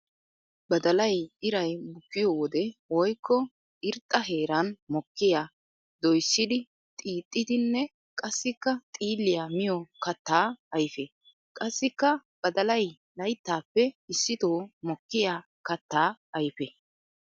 Badallay iray bukkiyo wode woykko irxxa heeran mokkiya doyssiddi xiixxidinne qassikka xiilliya miyo katta ayfe. Qassikka badallay layttappe issitto mokkiya katta ayfe.